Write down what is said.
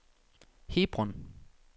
Hebron